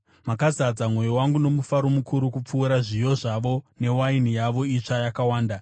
Makazadza mwoyo wangu nomufaro mukuru kupfuura zviyo zvavo newaini yavo itsva yakawanda.